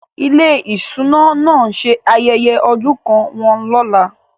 Ilé-iṣẹ́ ìṣúná náà ń ṣe ayẹyẹ ọdún kan wọn lọ́la.